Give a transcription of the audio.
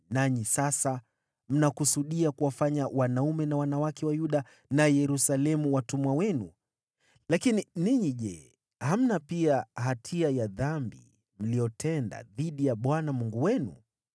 Nanyi sasa mnakusudia kuwafanya wanaume na wanawake wa Yuda na Yerusalemu watumwa wenu. Lakini ninyi je, hamna pia hatia ya dhambi mliyotenda dhidi ya Bwana Mungu wenu?